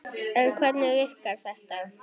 En hvernig virkar þetta?